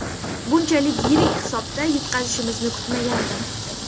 Bunchalik yirik hisobda yutqazishimizni kutmagandim.